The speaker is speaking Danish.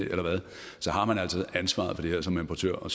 har man altså ansvaret for det her som importør og